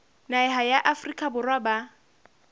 naha ya afrika borwa ba